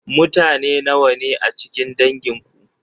Mutane nawa ne a cikin dangin ku?